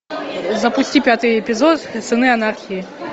запусти пятый эпизод сыны анархии